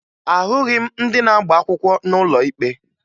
Ahụghị m ndị na-agba akwụkwọ n'ụlọ ikpe